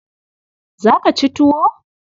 Za ka ci tuwo?